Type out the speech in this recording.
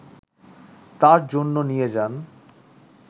তার জন্য নিয়ে যান